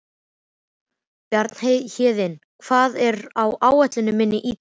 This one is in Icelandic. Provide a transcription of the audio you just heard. Bjarnhéðinn, hvað er á áætluninni minni í dag?